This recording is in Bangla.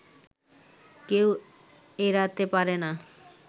কেউ এড়াতে পারেনা